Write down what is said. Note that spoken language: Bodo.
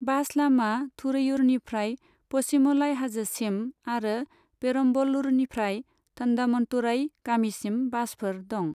बास लामा थुरैयूरनिफ्राय पचीमलाई हाजोसिम, आरो पेरम्बलूरनिफ्राय थन्डामन्तुरई गामिसिम बासफोर दं।